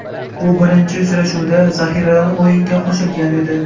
U birinchi uchrashuvda zaxiradan o‘yinga qo‘shilgan edi.